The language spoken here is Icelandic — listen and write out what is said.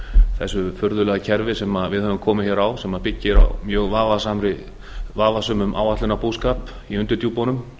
þessu furðulega kerfi sem við höfum komið hér á sem byggir á mjög vafasömum áætlunarbúskap í undirdjúpunum